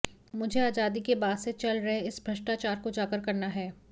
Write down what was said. मुझे आजादी के बाद से चल रहे इस भ्रष्टाचार को उजागर करना है